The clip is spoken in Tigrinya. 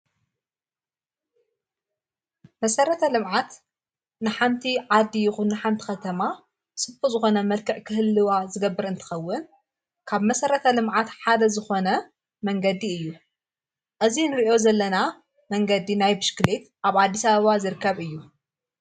መሠረተ ልምዓት ንሓንቲ ዓዲ ይኹ ንሓንቲ ኸተማ ስቶ ዝኾነ መልከዕ ክህልዋ ዝገብር እንትኸውን ካብ መሠረተ ልምዓት ሓደ ዝኾነ መንገዲ እዩ። እዙይ ንርእዮ ዘለና መንገዲ ናይብሽክሊት ኣብ ኣዲስኣበባ ዝርከብ እዩ።